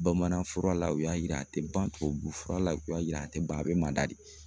Bamanan fura la u y'a yira a tɛ ban, tubabu fura la u y'a yira a tɛ ban a bɛ manda de.